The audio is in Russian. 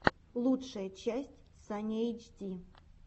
лучшая часть саня эйчди